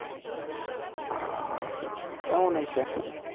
আহ কেমন হয়েছে